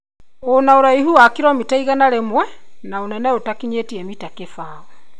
ũna uraihu wa kiromita igana rĩmwe na ũnene ũtakinyĩtie mita kĩbaũ